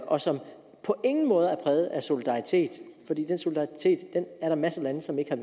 og som på ingen måde er præget af solidaritet er der masser af lande som ikke har